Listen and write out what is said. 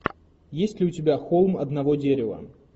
есть ли у тебя холм одного дерева